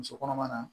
Muso kɔnɔma na